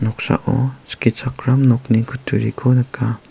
noksao skichakram nokni kutturiko nika.